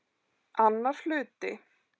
Annar hluti